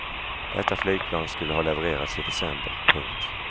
Detta flygplan skulle ha levererats i december. punkt